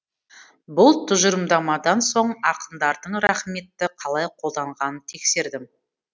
бұл тұжырымдамадан соң ақындардың рақметті қалай қолданғанын тексердім